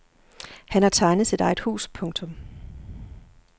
Han har tegnet sit eget hus. punktum